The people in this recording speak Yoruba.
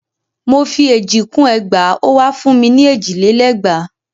Mò fi èjì kún ẹgbàá ó wa fún ni èjì lé lẹ́gbàá.